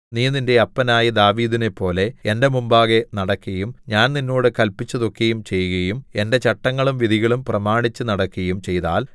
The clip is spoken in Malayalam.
നീ നിന്റെ അപ്പനായ ദാവീദിനെപ്പോലെ എന്റെ മുമ്പാകെ നടക്കയും ഞാൻ നിന്നോട് കല്പിച്ചതൊക്കെയും ചെയ്കയും എന്റെ ചട്ടങ്ങളും വിധികളും പ്രമാണിച്ചുനടക്കയും ചെയ്താൽ